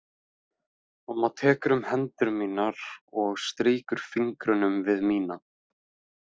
Mamma tekur um hendur mínar og strýkur fingrunum við mína.